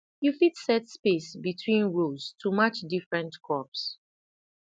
you fit set space between rows to match different crops